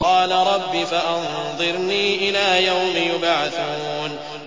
قَالَ رَبِّ فَأَنظِرْنِي إِلَىٰ يَوْمِ يُبْعَثُونَ